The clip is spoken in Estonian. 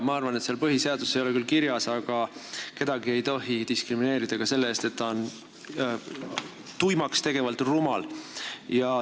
Jaa, ma arvan – seal põhiseaduses ei ole küll kirjas –, et kedagi ei tohi diskrimineerida ka selle eest, et ta on tuimaks tegevalt rumal.